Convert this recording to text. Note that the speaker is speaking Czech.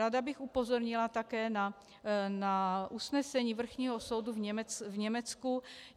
Ráda bych upozornila také na usnesení vrchního soudu v Německu.